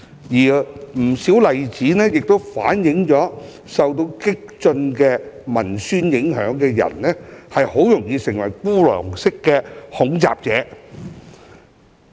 不少例子亦反映，受到激進文宣影響的人很容易成為孤狼式恐襲者。